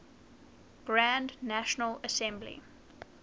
grand national assembly